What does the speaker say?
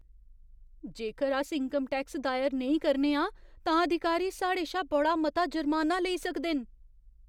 जेकर अस income tax दायर नेईं करने आं, तां अधिकारी साढ़े शा बड़ा मता जुर्माना लेई सकदे न।